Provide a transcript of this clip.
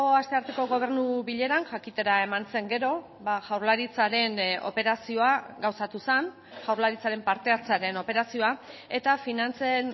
astearteko gobernu bileran jakitera eman zen gero jaurlaritzaren operazioa gauzatu zen jaurlaritzaren parte hartzearen operazioa eta finantzen